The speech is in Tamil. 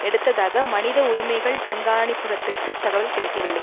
எடுத்ததாக மனித உரிமைகள் கண்காணிப்பகத்துக்கு தகவல் கிடைக்கவில்லை